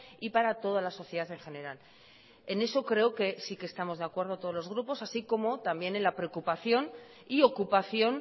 y para toda la sociedad en general en eso creo que sí que estamos de acuerdo todos los grupos así como también en la preocupación y ocupación